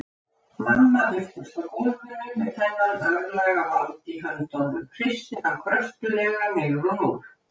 Mamma birtist á gólfinu með þennan örlagavald í höndunum, hristir hann kröftuglega niður á núll.